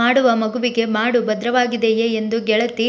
ಮಾಡುವ ಮಗುವಿಗೆ ಮಾಡು ಭದ್ರವಾಗಿದೆಯೇ ಎಂದು ಗೆಳತಿ